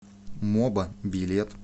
моба билет